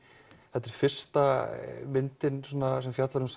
þetta er fyrsta myndin sem fjallar um